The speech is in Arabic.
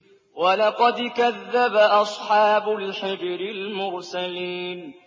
وَلَقَدْ كَذَّبَ أَصْحَابُ الْحِجْرِ الْمُرْسَلِينَ